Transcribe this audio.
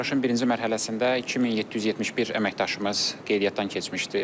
Bu yarışın birinci mərhələsində 2771 əməkdaşımız qeydiyyatdan keçmişdir.